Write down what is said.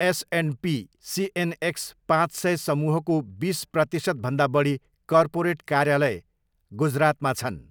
S and P CNX पाँच सय समूहको बिस प्रतिशतभन्दा बढी कर्पोरेट कार्यालय गुजरातमा छन्।